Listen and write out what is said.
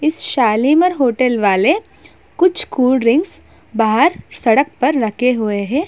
इस शालीमार होटल वाले कुछ कोल्ड ड्रिंक्स बाहर सड़क पर रखे हुए है।